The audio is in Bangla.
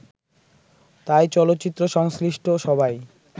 তাই চলচ্চিত্র সংশ্লিষ্ট সবাই